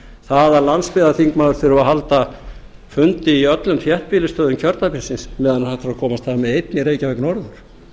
það að landsbyggðarþingmaður þurfi að halda fundi í öllum þéttbýlisstöðum kjördæmisins meðan hægt er að komast af með einn í reykjavík norður